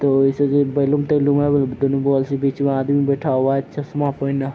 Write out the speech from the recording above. तो ऐसे जो बैलून तैलून है वो दोनों बगल से बिच मा आदमी बैठा हुआ है चश्मा पेहना।